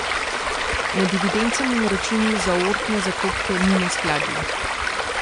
Med evidencami in računi za aortne zaklopke ni neskladij.